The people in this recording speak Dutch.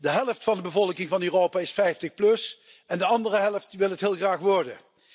De helft van de bevolking van Europa is 50, en de andere helft wil het heel graag worden.